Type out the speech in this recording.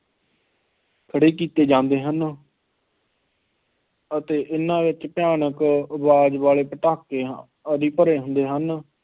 ਖੜ੍ਹੇ ਕੀਤੇ ਜਾਂਦੇ ਹਨ ਅਤੇ ਇਹਨਾ ਵਿੱਚ ਭਿਆਨਕ ਆਵਾਜ਼ ਵਾਲੇ ਪਟਾਕਿਆਂ ਆਦਿ ਭਰੇ ਹੁੰਦੇ ਹਨ।